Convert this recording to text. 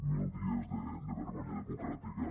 mil dies de vergonya democràtica